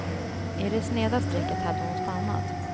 I det sneda strecket hade hon stannat.